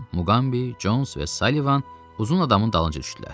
Tarzan, Muqambi, Cons və Sullivan uzun adamın dalınca düşdülər.